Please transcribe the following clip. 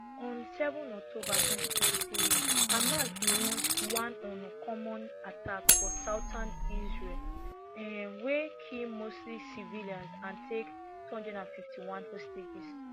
on seven october twenty twenty three, hamas bin launch one uncommon attack for southern israel um wey kill mostly civilians and take two hunderd and fifty one hostages